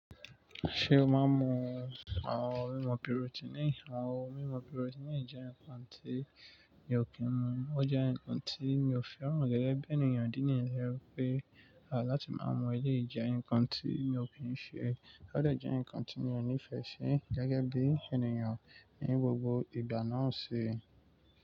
Ṣé o máa mọ àwọn mímu proteínì? Ní àwọn mímu proteínì jẹ́ ǹkan tí mi ò kí ń mu. Ó jẹ́ ǹkan tí mi ò fẹ́ràn gẹ́gẹ́ bí ènìyàn idí níyẹn tójẹ́ pé, à láti máa mú eléyìí jẹ, ǹkan tí mi ò kí ń ṣe. Ó dẹ̀ jẹ́ ǹkan tí mi ò nífẹ̀ẹ́ si gẹ́gẹ́ bí ènìyàn ní gbogbo ìgbà náà si.